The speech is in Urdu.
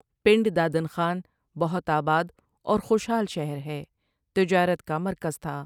پنڈدادن خان بہت آباد اور خوشحال شہر ہےتجارت کا مرکز تھا ۔